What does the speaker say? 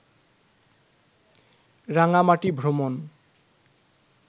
রাঙামাটি ভ্রমন